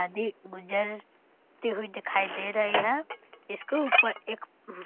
नदी गुजरती हुई दिखाई दे रही है इसके ऊपर एक --